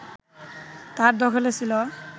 তার দখলে ছিল